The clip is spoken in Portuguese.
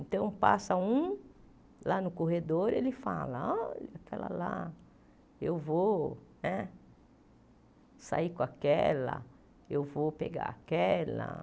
Então, passa um lá no corredor, ele fala, olha, aquela lá, eu vou né sair com aquela, eu vou pegar aquela.